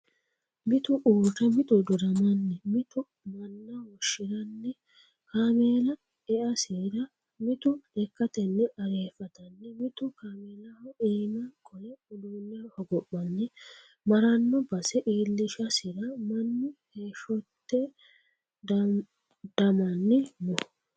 Mitu uurre miti dodamanni mitu manna woshshiranni kaameella easira mitu lekkateni arfattanni mitu kaameellaho iima qole uduune hogophanni marano base iillishasira mannu heeshahote dodamanni no.